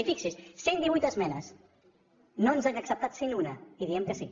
i fixi s’hi cent divuit esmenes no ens n’han acceptat cent una i diem que sí